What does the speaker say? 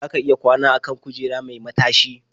Za ka iya kwana a kan kujera mai matashi.